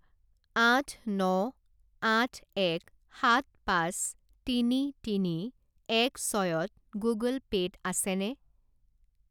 আঠ ন আঠ এক সাত পাঁচ তিনি তিনি এক ছয়ত গুগল পে' ত আছেনে?